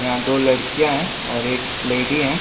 यहाँ दो लड़कियाँ हैं और एक लेडी है ।